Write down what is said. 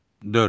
Dörd.